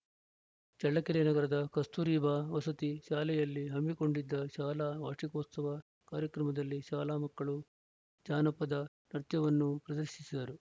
ಚಳ್ಳಕೆರೆ ನಗರದ ಕಸ್ತೂರಿ ಬಾ ವಸತಿ ಶಾಲೆಯಲ್ಲಿ ಹಮ್ಮಿಕೊಂಡಿದ್ದ ಶಾಲಾ ವಾರ್ಷಿಕೋತ್ಸವ ಕಾರ್ಯಕ್ರಮದಲ್ಲಿ ಶಾಲಾ ಮಕ್ಕಳು ಜಾನಪದ ನೃತ್ಯವನ್ನು ಪ್ರದರ್ಶಿಸಿದರು